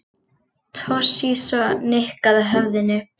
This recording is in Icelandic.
Toshizo nikkaði höfðinu.